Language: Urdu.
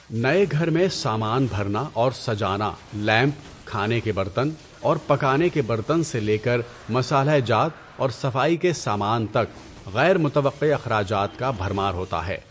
نئے گھر میں سامان بھرنا اور سجانا لیمپ، کھانے کے برتن، اور پکانے کے برتن سے لے کر مصالحہ جات اور صفائی کے سامان تک غیر متوقع اخراجات کا بھرمار ہوتا ہے۔